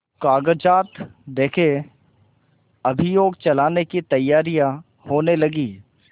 कागजात देखें अभियोग चलाने की तैयारियॉँ होने लगीं